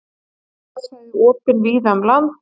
Skíðasvæði opin víða um land